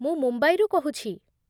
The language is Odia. ମୁଁ ମୁମ୍ବାଇରୁ କହୁଛି ।